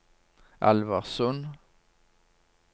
Alversund